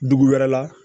Dugu wɛrɛ la